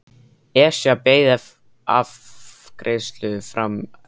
Esja beið afgreiðslu fram yfir hádegi.